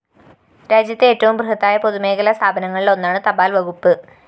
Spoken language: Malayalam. രാജ്യത്തെ ഏറ്റവും ബൃഹത്തായ പൊതുമേഖലാ സ്ഥാപനങ്ങളില്‍ ഒന്നാണ് തപാല്‍ വകുപ്പ്